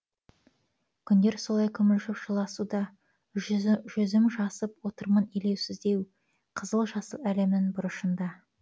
күндер солай күмілжіп жылысуда жүзім жасып отырмын елеусіздеу қызыл жасыл әлемнің бұрышында